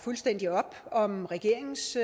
op om regeringens